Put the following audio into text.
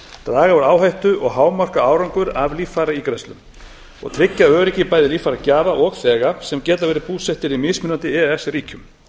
draga úr áhættu og hámarka árangur af líffæraígræðslum og tryggja öryggi líffæragjafa og líffæraþega sem geta verið búsettir í mismunandi e e s ríkjum